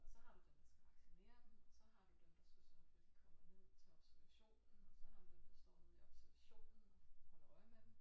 Og så har du dem der skal vaccinere dem og så har du dem der skal sørge for de kommer ned til observationen og så har du den der står ude i observationen holder øje med dem